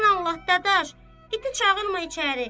Sən Allah, Dadaş, iti çağırma içəri.